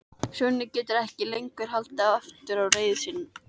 Svenni getur ekki lengur haldið aftur af reiði sinni.